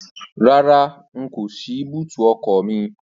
Rárá, n kò ṣí ọkọ̀ mi lẹ́gbẹ̀ẹ́ ọkọ̀ mi.